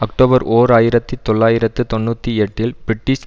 October ஓர் ஆயிரத்தி தொள்ளாயிரத்து தொன்னூத்தி எட்டில் பிரிட்டிஷ்